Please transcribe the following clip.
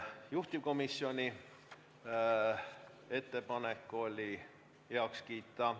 Juhtivkomisjoni ettepanek oli eelnõu heaks kiita.